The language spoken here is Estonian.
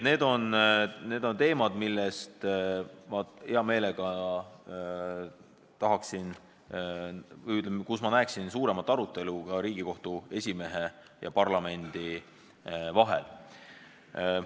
Need on teemad, mille üle minu arvates võiks olla suurem arutelu ka Riigikohtu esimehe ja parlamendi vahel.